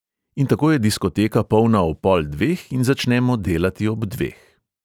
In tako je diskoteka polna ob pol dveh in začnemo delati ob dveh.